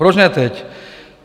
Proč ne teď?